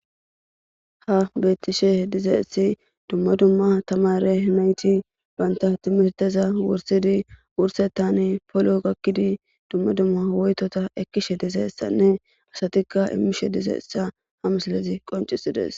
ha bettishe dizeessi dumma dumma tamare yunayti banta timirteza wursidi wursettan polo gakkidi dumma dumma woytota ekkishe dizeessanne asatikka imishe dizeessa ha mislezi qoncisides